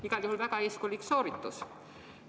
Igal juhul väga eeskujulik sooritus.